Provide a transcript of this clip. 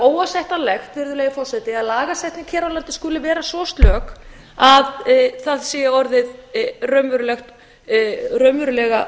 óásættanlegt virðulegi forseti að lagasetning hér á landi skuli vera svo slök að það sé árið raunverulega